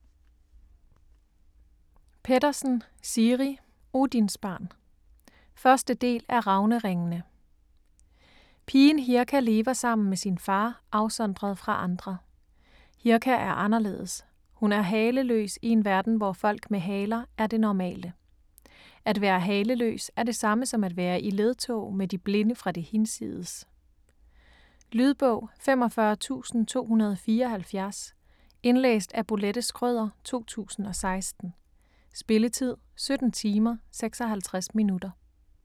Pettersen, Siri: Odinsbarn 1. del af Ravneringene. Pigen Hirka lever sammen med sin far, afsondret fra andre. Hirka er anderledes, hun er haleløs i en verden hvor folk med haler er det normale. At være haleløs er det samme som at være i ledtog med de blinde fra det hinsides. Lydbog 45274 Indlæst af Bolette Schrøder, 2016. Spilletid: 17 timer, 56 minutter.